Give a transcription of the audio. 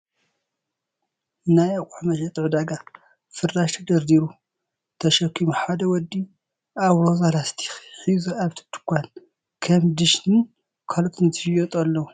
ናይ ኣቁሑ መሸጢ ዕዳጋ ፍራሽ ተደርዲሩ ተሸኪሙ ሓደ ወዲ ኣብ ሮዛ ላስቲክ ሒዙ ኣብቲ ድካን ከም ድሽ ን ካልኦትን ዝሽየጡ ኣለዉ ።